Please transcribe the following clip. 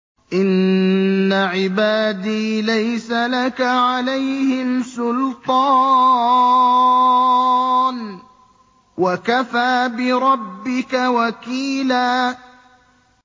إِنَّ عِبَادِي لَيْسَ لَكَ عَلَيْهِمْ سُلْطَانٌ ۚ وَكَفَىٰ بِرَبِّكَ وَكِيلًا